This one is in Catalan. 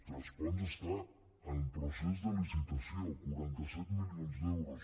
tres ponts està en procés de licitació quaranta set milions d’euros